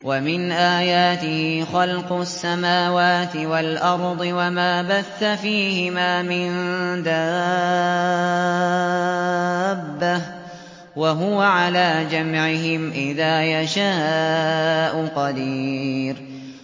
وَمِنْ آيَاتِهِ خَلْقُ السَّمَاوَاتِ وَالْأَرْضِ وَمَا بَثَّ فِيهِمَا مِن دَابَّةٍ ۚ وَهُوَ عَلَىٰ جَمْعِهِمْ إِذَا يَشَاءُ قَدِيرٌ